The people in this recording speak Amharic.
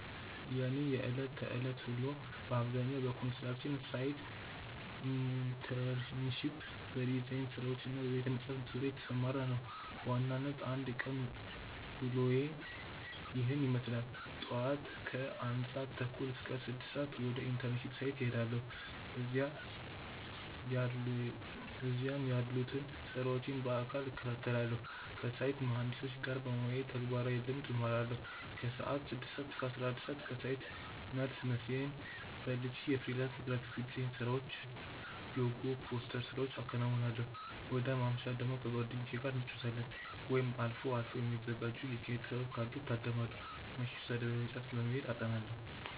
የእኔ የዕለት ተዕለት ውሎ በአብዛኛው በኮንስትራክሽን ሳይት ኢንተርንሺፕ፣ በዲዛይን ስራዎች እና በቤተ-መጻሕፍት ዙሪያ የተሰማራ ነው። በዋናነት የአንድ ቀን ውሎዬ ይህንን ይመስላል፦ ጧት (ከ1:30 - 6:00)፦ ወደ ኢንተርንሺፕ ሳይት እሄዳለሁ። እዚያም ያሉትን ስራዎች በአካል እከታተላለሁ። ከሳይት መሃንዲሶች ጋር በመወያየት ተግባራዊ ልምድ እማራለሁ። ከሰዓት (ከ6:00 - 11:00)፦ ከሳይት መልስ ምሳዬን በልቼ የፍሪላንስ ግራፊክ ዲዛይን ስራዎችን (ሎጎ፣ ፖስተር ስራዎቼን አከናውናለሁ። ወደ ማምሻ ደግሞ፦ ከጓደኞቼ ጋር እንጫወታለን፣ ወይም አልፎ አልፎ የሚዘጋጁ የኪነ-ጥበቦችን ካሉ እታደማለሁ። ምሽት፦ ወደ ቤተ-መጻሕፍት በመሄድ አጠናለሁ።